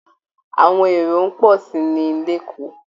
Àwọn èrò ń pọ̀ sí i ni LÉkòó